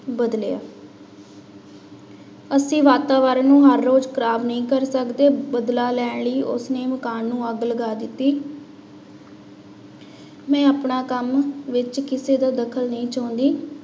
ਬਦਲਿਆ ਅਸੀਂ ਵਾਤਾਵਰਨ ਨੂੰ ਹਰ ਰੋਜ਼ ਖ਼ਰਾਬ ਨਹੀਂ ਕਰ ਸਕਦੇ, ਬਦਲਾ ਲੈਣ ਲਈ ਉਸਨੇ ਮਕਾਨ ਨੂੰ ਅੱਗ ਲਗਾ ਦਿੱਤੀ ਮੈਂ ਆਪਣਾ ਕੰਮ ਵਿੱਚ ਕਿਸੇ ਦਾ ਦਖ਼ਲ ਨਹੀਂ ਚਾਹੁੰਦੀ।